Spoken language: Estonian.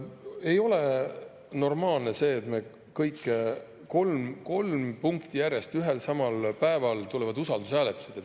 Ei ole normaalne, et kolm punkti järjest ühel ja samal päeval tulevad usaldushääletused.